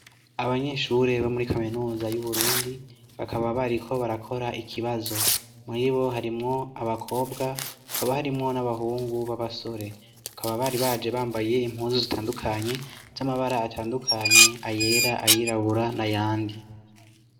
Abanyeshure bo muri kaminuza y'uburundi bakaba bari ko barakora ikibazo muri bo harimwo abakobwa akaba harimwo n'abahungu b'abasore hakaba bari baje bambaye impuzu zitandukanye z'amabara atandukanye ayera ayirabura na ayandi.